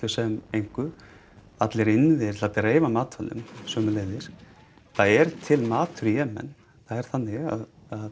sem engu allir innviðir til að dreifa matvælum sömuleiðis það er til matur í Jemen það er þannig að